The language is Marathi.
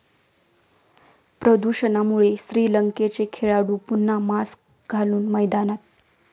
प्रदूषणामुळे श्रीलंकेचे खेळाडू पुन्हा मास्क घालून मैदानात